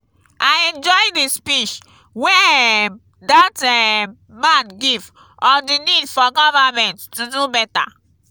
i enjoy the speech wey um dat um man give on the need for government to dey do beta